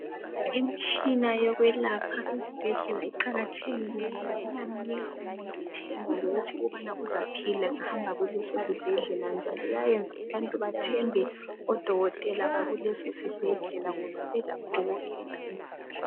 imitshina yokwelapha iqakathekile ngoba iyamnika umuntu ithengwa lokubana uzaphila engahamba kuleso sibhedlela njalo iyayenza odokotela bathembe kuleso sibhedlela ngoba belakho konke